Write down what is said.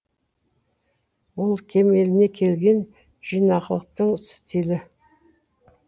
бұл кемеліне келген жинақылықтың стилі